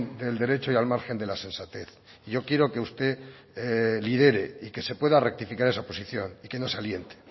del derecho y al margen de la sensatez yo quiero que usted lidere y que se pueda rectificar esa posición y que no se aliente